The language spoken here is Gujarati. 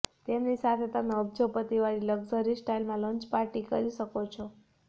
તેમની સાથે તમે અબજોપતિ વાળી લગ્ઝરી સ્ટાઈલમાં લંચ પાર્ટી કરી શકો છો